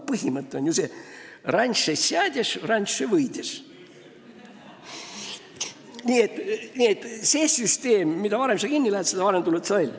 Põhimõte on ju see: "ranše sjadješ, ranše võidješ" ehk "mida varem sa kinni lähed, seda varem sa välja tuled".